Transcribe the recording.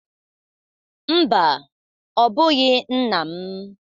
Mba, ọ bụghị nna m.